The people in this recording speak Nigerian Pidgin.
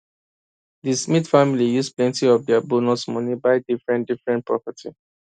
di smith family use plenty of dia bonus money buy differentdifferent property